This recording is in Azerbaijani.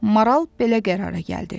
Maral belə qərara gəldi.